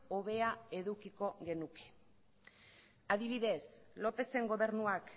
hobea edukiko genuke adibidez lópezen gobernuak